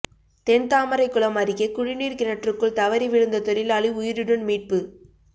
தென்தாமரைகுளம் அருகே குடிநீர் கிணற்றுக்குள் தவறி விழுந்த தொழிலாளி உயிருடன் மீட்பு